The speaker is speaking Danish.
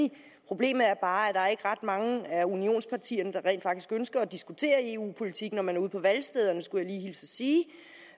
det problemet er bare ret mange af unionspartierne der rent faktisk ønsker at diskutere eu politik når man er ude på valgstederne skulle